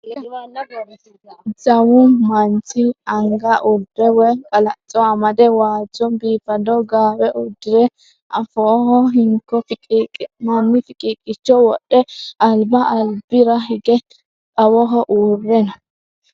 Jawu manchi anga urde woy qalacco amade waajjo biifado gaawe uddire afooho hinko fiqiiqqi'nanni fiqiiqicho wodhe alba albira hige xawoho uurre no.